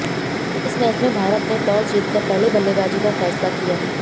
इस मैच में भारत ने टॉस जीत कर पहले बल्लेबाज़ी का फ़ैसला किया